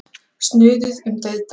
Snuðuð um dauðdaga.